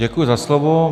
Děkuji za slovo.